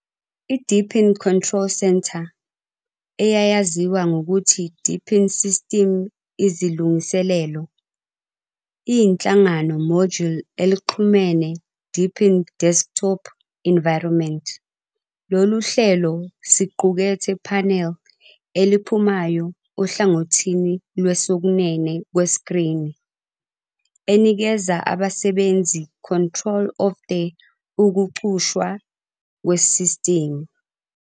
I Deepin Control Center, eyayaziwa ngokuthi Deepin System Izilungiselelo, iyinhlangano module elixhumene Deepin Desktop Environment. Lolu hlelo siqukethe panel eliphumayo ohlangothini lwesokunene kwesikrini, enikeza abasebenzisi control of the ukucushwa kwesistimu.